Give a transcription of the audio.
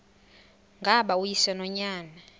ngaba uyise nonyana